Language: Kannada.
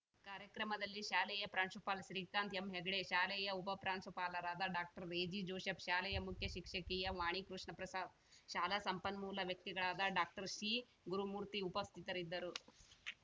ಕಾರ‍್ಯಕ್ರಮದಲ್ಲಿ ಶಾಲೆಯ ಪ್ರಾಂಶುಪಾಲ ಶ್ರೀಕಾಂತ ಎಂ ಹೆಗಡೆ ಶಾಲೆಯ ಉಪಪ್ರಾಂಶುಪಾಲರಾದ ಡಾಕ್ಟರ್ ರೆಜಿ ಜೋಸೆಪ್‌ ಶಾಲೆಯ ಮುಖ್ಯ ಶಿಕ್ಷಕಿಯ ವಾಣಿಕೃಷ್ಣಪ್ರಸಾದ್‌ ಶಾಲಾ ಸಂಪನ್ಮೂಲ ವ್ಯಕ್ತಿಗಳಾದ ಡಾಕ್ಟರ್ಸಿ ಗುರುಮೂರ್ತಿ ಉಪಸ್ಥಿತರಿದ್ದರು